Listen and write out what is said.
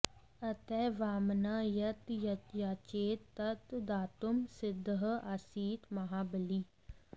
अतः वामनः यत् याचेत तत् दातुं सिद्धः आसीत् महाबली